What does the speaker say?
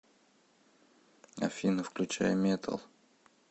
афина включай метал